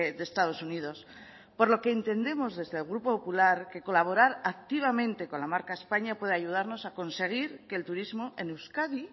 de estados unidos por lo que entendemos desde el grupo popular que colaborar activamente con la marca españa puede ayudarnos a conseguir que el turismo en euskadi